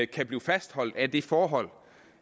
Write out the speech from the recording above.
kan blive fastholdt af det forhold